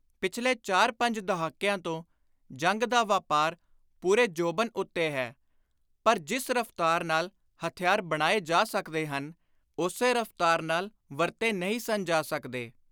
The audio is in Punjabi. ਪਿਛਲੇ ਚਾਰ-ਪੰਜ ਦਹਾਕਿਆਂ ਤੋਂ ਜੰਗ ਦਾ ਵਾਪਾਰ ਪੁਰੇ ਜੋਬਨ ਉੱਤੇ ਹੈ, ਪਰ ਜਿਸ ਰਫ਼ਤਾਰ ਨਾਲ ਹਥਿਆਰ ਬਣਾਏ ਜਾ ਸਕਦੇ ਹਨ, ਉਸੇ ਰਫ਼ਤਾਰ ਨਾਲ ਵਰਤੇ ਨਹੀਂ ਸਨ ਜਾ ਸਕਦੇ।